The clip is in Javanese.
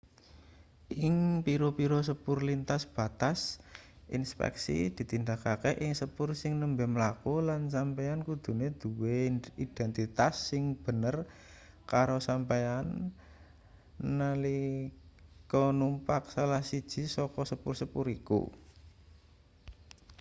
ing pira-pira sepur lintas batas inspeksi ditindakake ing sepur sing nembe mlaku lan sampeyan kudune duwe identitas sing bener karo sampeyan nalika numpak salah siji saka sepur-sepur iku